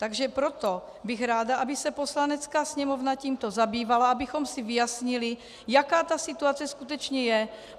Takže proto bych ráda, aby se Poslanecká sněmovna tímto zabývala, abychom si vyjasnili, jaká ta situace skutečně je.